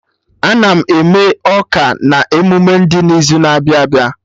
Ana m eme ọka na emume dị n'izu na-abịa abịa